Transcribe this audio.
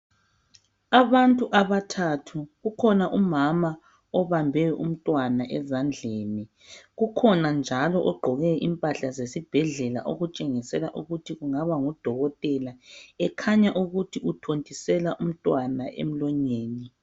Abantu abathathu, ukhona umama obambe umntwana ezandleni. Kukhona njalo ogqoke impahla zesibhedlela okutshengisela ukuthi kungaba ngudokotela ekhanya ukuthi uthontisela umntwana emlonyeni.